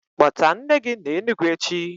Kpota nne gi na Enugu echi?